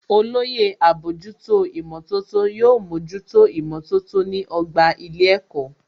Olóyè àbójútó ìmọ̀tótó yóò mójútó ìmọ̀tótó ní ọgbà ilé ẹ̀kọ́